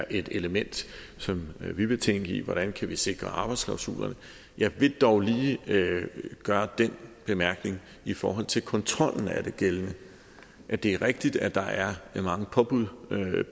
et element som vi vil tænke på altså vi sikre arbejdsklausulerne jeg vil dog lige gøre den bemærkning i forhold til kontrollen af det gældende at det er rigtigt at der er mange påbud